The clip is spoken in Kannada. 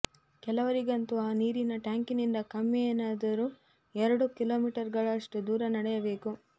ಕೆಲವರಿಗಂತೂ ಆ ನೀರಿನ ಟ್ಯಾಂಕಿನಿಂದ ಕಮ್ಮಿಯೆಂದರೂ ಎರಡು ಕಿಲೋಮೀಟರುಗಳಷ್ಟು ದೂರ ನಡೆಯಬೇಕು